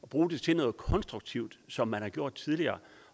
bruge det til noget konstruktivt som man har gjort tidligere